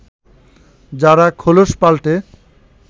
যারা খোলস পাল্টে